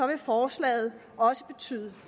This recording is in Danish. vil forslaget også betyde